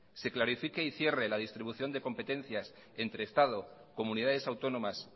se clarifique y cierre la distribución de competencias entre estado comunidades autónomas